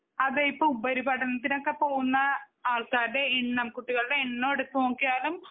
അതെ ഇപ്പൊ ഉപരിപഠനത്തിനോക്കെ പോകുന്ന ആൾക്കാരുടെ എണ്ണം കുട്ടികളുടെ എണ്ണം എടുത്തു നോക്കിയാലും